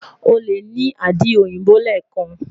o le ni adi oyinbo lẹẹkan